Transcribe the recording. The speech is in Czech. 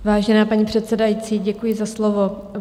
Vážená paní předsedající, děkuji za slovo.